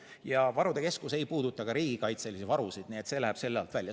Ja varude keskus ei puuduta ka riigikaitselisi varusid, nii et see läheb selle alt välja.